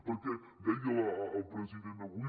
perquè deia el president avui